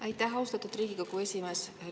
Aitäh, austatud Riigikogu esimees!